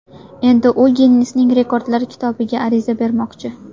Endi u Ginnesning Rekordlar kitobiga ariza bermoqchi.